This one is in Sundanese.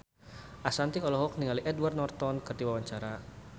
Ashanti olohok ningali Edward Norton keur diwawancara